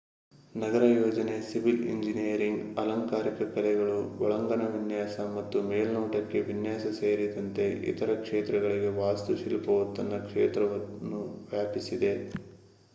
ನಗರ ಯೋಜನೆ civil engineering ಅಲಂಕಾರಿಕ ಕಲೆಗಳು ಒಳಾಂಗಣ ವಿನ್ಯಾಸ ಮತ್ತು ಮೇಲ್ನೋಟದ ವಿನ್ಯಾಸ ಸೇರಿದಂತೆ ಇತರ ಕ್ಷೇತ್ರಗಳಿಗೆ ವಾಸ್ತುಶಿಲ್ಪವು ತನ್ನ ಕ್ಷೇತ್ರವನ್ನು ವ್ಯಾಪಿಸಿದೆ